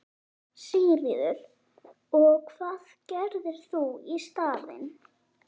Sigríður: Og hvað gerir þú í staðinn?